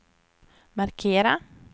markera